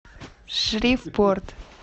шривпорт